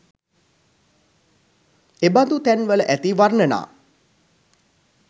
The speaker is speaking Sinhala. එබඳු තැන්වල ඇති වර්ණනා